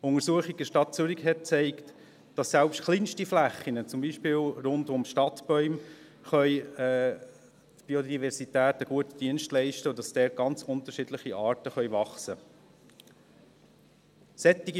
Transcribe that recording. Eine Untersuchung in der Stadt Zürich hat gezeigt, dass selbst kleinste Flächen, beispielsweise rund um Stadtbäume der Biodiversität einen guten Dienst leisten können und dass dort ganz unterschiedlichste Arten wachsen können.